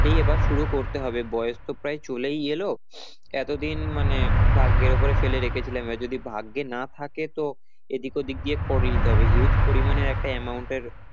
এই এবার শুরু করতে হবে বয়েস তো প্রায় চলেই এলো, এতদিন মানে ভাগ্যের উপরে ফেলে রেখেছিলাম এবার যদি ভাগ্যে না থাকে তো এদিক ওদিক দিয়ে করিয়ে নিতে হবে huge পরিমানের একটা amount এর